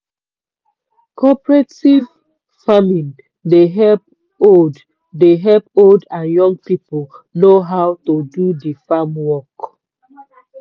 cooperative farming dey help old dey help old and young people know how to do di farm work.